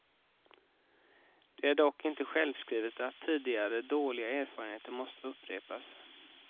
Det är dock inte självskrivet att tidigare dåliga erfarenheter måste upprepas.